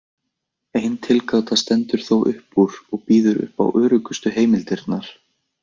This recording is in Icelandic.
Ein tilgáta stendur þó upp úr og býður upp á öruggustu heimildirnar.